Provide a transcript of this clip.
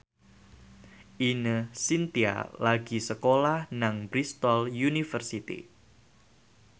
Ine Shintya lagi sekolah nang Bristol university